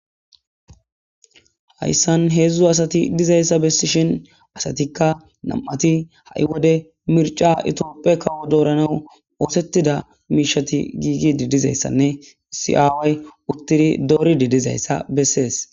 hayssan heedzdzu asati dizayssa bessishin asatikka nam7ati ha7i wode mirca itioppe kawo dooranaw oosettida miishati giigi didizayssanne si7aaway uttidi doori didizayssa bessees